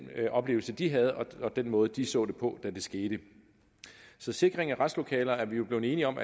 oplevelse de havde og den måde de så det på da det skete så sikring af retslokaler er vi blevet enige om